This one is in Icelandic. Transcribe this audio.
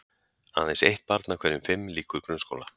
Aðeins eitt barn af hverjum fimm lýkur grunnskóla.